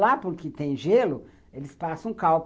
Lá, porque tem gelo, eles passam cal.